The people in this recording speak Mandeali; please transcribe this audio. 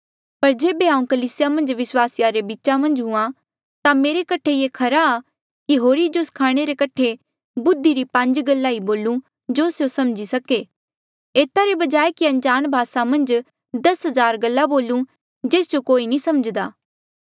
पर जेबे हांऊँ कलीसिया मन्झ विस्वासिया रे बीचा मन्झ हूँआ ता मेरे कठे ये खरा कि होरी जो स्खाणे रे कठे बुद्धि री पांज गल्ला ई बोलूं जो स्यों समझी सके एता रे बजाय कि अनजाण भासा मन्झ दस हजार गल्ला बोलू जेस जो कोई नी समझ्दा